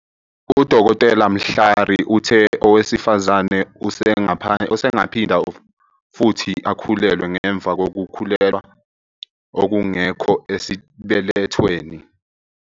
UDkt. Mhlari uthe owesifazane usengaphinda futhi akhulelwe ngemva kokukhulelwa okungekho esibelethweni.